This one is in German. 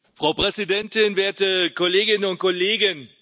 Frau Präsidentin, werte Kolleginnen und Kollegen!